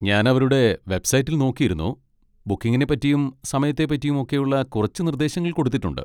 ഞാൻ അവരുടെ വെബ്സൈറ്റിൽ നോക്കിയിരുന്നു, ബുക്കിങ്ങിനെ പറ്റിയും സമയത്തെ പറ്റിയും ഒക്കെയുള്ള കുറച്ച് നിർദ്ദേശങ്ങൾ കൊടുത്തിട്ടുണ്ട്.